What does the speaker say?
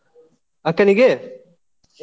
ಅಕ್ಕನಿಗೆ?